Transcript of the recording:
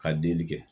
Ka delili kɛ